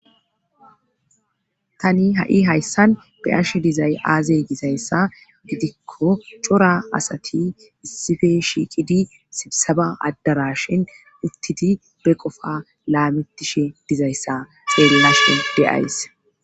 tani ha7i hayssan be7ashe dizay aazee gizayssa gidikko cora asati issife shiiqidi sibisaba addarashan uttidi be qofa laamitishe dizayssa xeellashe de7ays